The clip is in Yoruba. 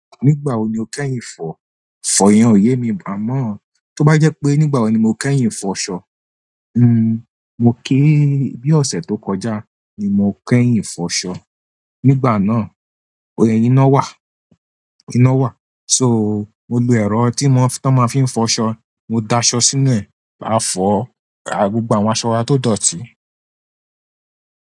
Nígbà wo ni o kẹ́yìn ìfọ̀? Ìfọ̀ yen òye mi, màá mo. Tó bá jẹ́ pé nígbà wo ni mo kẹ́yìn foṣọ. Hmm, mo ké bi ọ̀sẹ̀ tó kọjá ni mo kẹ́yìn foṣọ. Nígbà náà, ó yẹ ina wà, ina wà. So, mo lo ẹ̀rọ tí mo, tí wọ́n máa fí ń fọṣọ, mo da aṣọ sínú ẹ̀, máa fọ gbogbo àwọn aṣọ wa tó dọ̀tí.